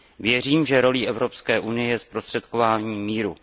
Věřím, že rolí Evropské unie je zprostředkování míru.